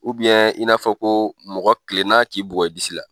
in n'a fɔ ko mɔgɔ kilen n'a k'i bugɔ i disi la.